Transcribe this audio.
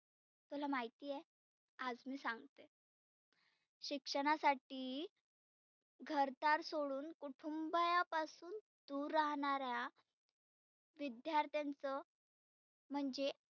तुला माहिती आहे? आज मी सांगते. शिक्षणासाठी घरदार सोडुन कुटूंबा पासुन दुर राहणार्या विद्यार्थांच म्हणजे